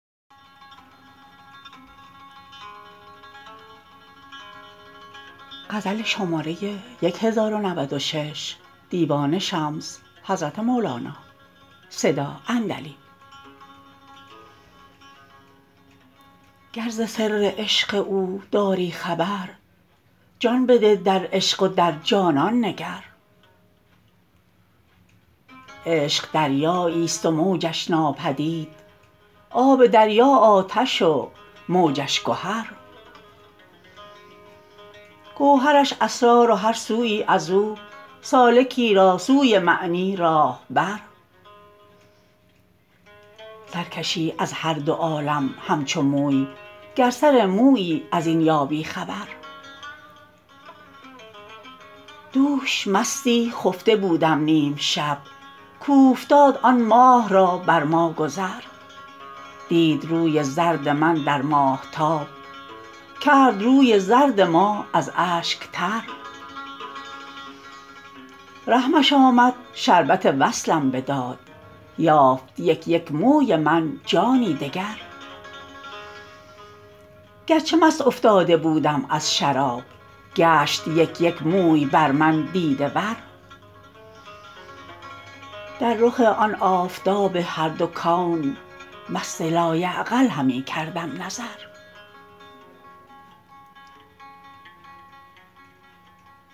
گر ز سر عشق او داری خبر جان بده در عشق و در جانان نگر عشق دریاییست و موجش ناپدید آب دریا آتش و موجش گهر گوهرش اسرار و هر سویی از او سالکی را سوی معنی راه بر سر کشی از هر دو عالم همچو موی گر سر مویی از این یابی خبر دوش مستی خفته بودم نیم شب کاوفتاد آن ماه را بر ما گذر دید روی زرد من در ماهتاب کرد روی زرد ما از اشک تر رحمش آمد شربت وصلم بداد یافت یک یک موی من جانی دگر گرچه مست افتاده بودم از شراب گشت یک یک موی بر من دیده ور در رخ آن آفتاب هر دو کون مست لایعقل همی کردم نظر